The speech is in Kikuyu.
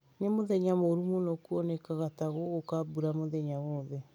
Nĩ mũthenya mũũru mũno kuonekaga ta gũgũka mbura mũthenya wothe.